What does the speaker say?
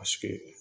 Paseke